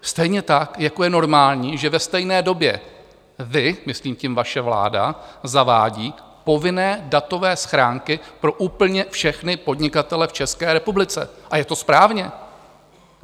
Stejně tak jako je normální, že ve stejné době vy, myslím tím vaše vláda, zavádíte povinné datové schránky pro úplně všechny podnikatele v České republice, a je to správně.